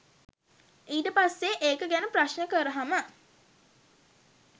ඊට පස්සේ ඒක ගැන ප්‍රශ්ණ කරහම